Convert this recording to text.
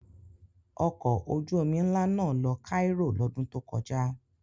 Ọkọ̀ ojú-omi ńlá náà lọ Cairo lọ́dún tó kọjá.